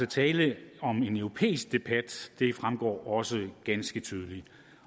tale om en europæisk debat det fremgår også ganske tydeligt